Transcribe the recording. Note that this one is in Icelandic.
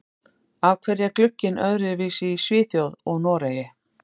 Af hverju er glugginn öðruvísi í Svíþjóð og Noregi?